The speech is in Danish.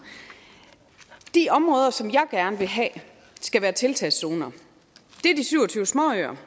de områder som jeg gerne vil have skal være tiltagszoner er de syv og tyve småøer